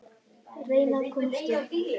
Reyna að komast upp.